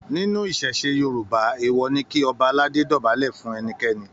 Nínú ìṣẹ̀ṣe Yorùbá, èèwọ̀ ni kí Ọba aládé dọ̀bálẹ̀ fún ẹnikẹ́ni.